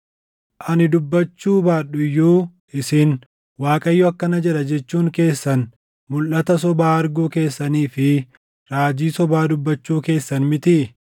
Ani dubbachuu baadhu iyyuu isin, “ Waaqayyo akkana jedha” jechuun keessan mulʼata sobaa arguu keessanii fi raajii sobaa dubbachuu keessan mitii?